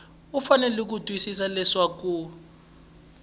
u fanele ku tiyisisa leswaku